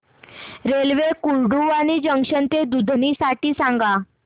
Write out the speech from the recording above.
railway Kurduwadi junction ते दुधनी साठी सांगा